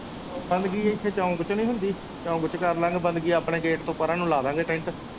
ਬੰਦਗੀ ਇਥੇ ਚੌਂਕ ਵਿਚ ਨਹੀ ਹੁੰਦੀ ਚੌਂਕ ਵਿਚ ਕਰਲਾਗੇ ਬੰਦਗੀ ਆਪਣੇ ਗੇਟ ਤੋਂ ਪਰਾਂ ਨੂੰ ਲਾ ਲਾ ਗੇ ਟੈਂਟ